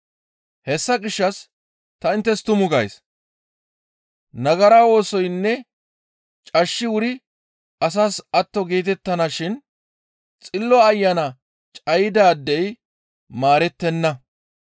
Hessa gishshas ta inttes tumu gays; nagara oosoynne cashshi wuri asas atto geetettana shin Xillo Ayana cayidaadey maarettenna.